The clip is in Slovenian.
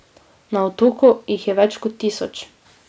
Na otoku jih je več kot tisoč.